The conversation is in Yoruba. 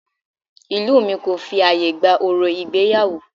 Ìlú mi kò fi ààyè gba orò ìgbéyàwó